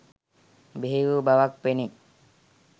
බිහි වූ බවක් පෙනේ